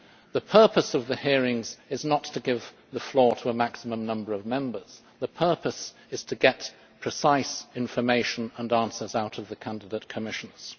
The purpose of the hearings is not to give the floor to a maximum number of Members the purpose is to get precise information and answers out of the candidate Commissioners.